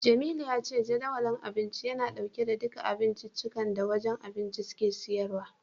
Jamilu ya ce Jadawalin Abinci yana dauke da duka abincikan da wajen abinci suke siyarwa.